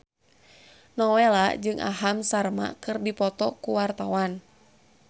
Nowela jeung Aham Sharma keur dipoto ku wartawan